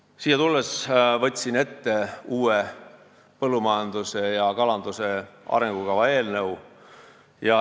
Võtsin siia tulles ette uue põllumajanduse ja kalanduse arengukava eelnõu.